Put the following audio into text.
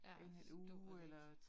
Ja, så duer det ikke